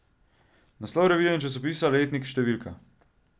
Naslov revije ali časopisa, letnik, številka.